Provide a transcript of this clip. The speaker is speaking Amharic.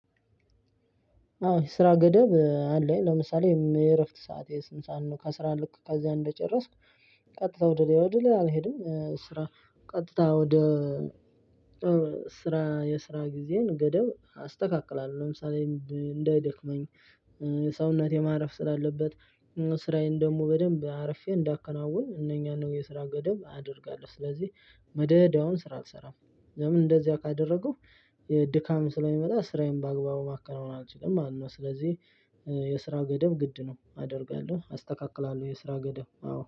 አዎ የስራ ገደብ አለኝ ለምሳሌ የእረፍት ሰዐቴ ስንት ሰዓት ነው? ከአስራ ልክ ከዚያ እንደጨረስኩ ቀጥታ ወደ ላይ ወደ ላይ አልሄድም ስራ። ቀጥታ ወደ ስራ የስራ ጊዜዬን ገደብ አስተካክላለሁ። ለምሳሌ እንዳይደክመኝ የሰውነት የማረፍ ስራ ስላለበት። ስራዬን ደግሞ በደንብ አርፌ እንዳከናውን እነኛን ነው የስራ ገደብ አደርጋለሁ። ስለዚህ መደዳውን ስራ አልሰራም። ለምን እንደዚያ ካደረኩ የድካም ስለሚመጣ ስራዬን በአግባቡ ማከናውን አልችልም ማለት ነው። ስለዚህ የስራ ገደብ ግድ ነው አደርጋለሁ አስተካክላለሁ። የስራ ገደብ አዎ